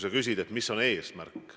Sa küsid, mis on eesmärk.